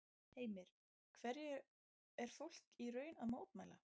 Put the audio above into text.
Heimir, hverju er fólk í raun að mótmæla?